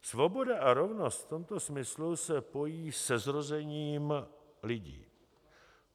Svoboda a rovnost v tomto smyslu se pojí se zrozením lidí.